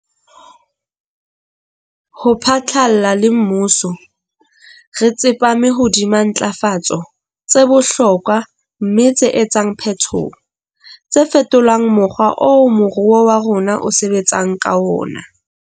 Ho phatlalla le mmuso, re tsepame hodima ntlafatso tse bohlokwa mme tse etsang phetoho. tse fetolang mokgwa oo moruo wa rona o sebetsang ka ona.